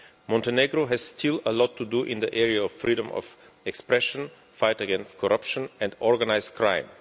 Montenegro still has a lot to do in the area of freedom of expression and the fight against corruption and organised crime.